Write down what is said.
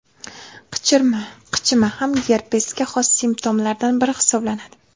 Qichima Qichima ham gerpesga xos simptomlardan biri hisoblanadi.